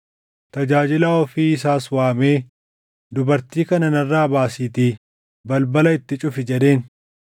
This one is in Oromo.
Tajaajilaa ofii isaas waamee, “Dubartii kana narraa baasiitii balbala itti cufi” jedheen.